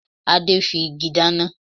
Adé fi igi dáná